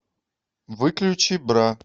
выключи бра